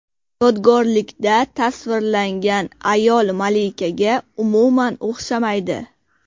Yodgorlikda tasvirlangan ayol malikaga umuman o‘xshamaydi.